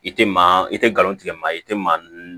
I tɛ maa i tɛ nkalon tigɛ maa i tɛ maa